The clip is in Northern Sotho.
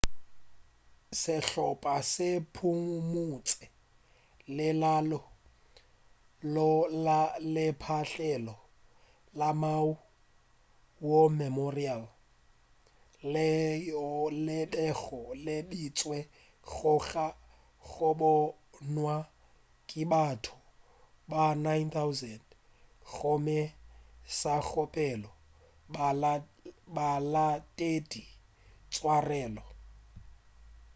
sehlopa se phumutše lenaneo go la lepatlelo la maui' war memorial leo le bego le beetšwe go tla go bonwa ke batho ba 9,000 gomme sa kgopela balatedi tswarelo